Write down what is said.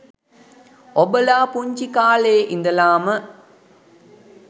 ඔබලා පුංචි කාලෙ ඉඳලම